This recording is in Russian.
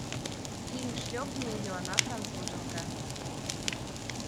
фильм шлепни ее она француженка